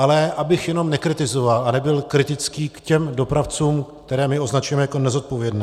Ale abych jenom nekritizoval a nebyl kritický k těm dopravcům, které my označujeme jako nezodpovědné.